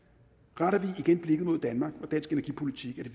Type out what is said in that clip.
retter vi igen blikket mod danmark og dansk energipolitik